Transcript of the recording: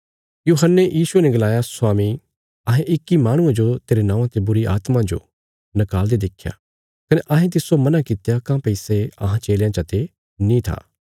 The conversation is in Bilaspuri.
यूहन्ने यीशुये ने गलाया स्वामी अहें इक्की माहणुये जो तेरे नौआं ते बुरीआत्मा जो निकाल़दे देख्या कने अहें तिस्सो मना कित्या काँह्भई सै अहां चेलयां चते नीं था